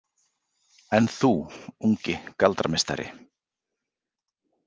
En þú, ungi galdrameistari?